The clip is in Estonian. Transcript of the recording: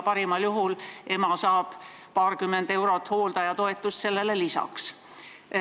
Parimal juhul saab ema paarkümmend eurot hooldajatoetust lisaks.